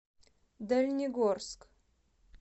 дальнегорск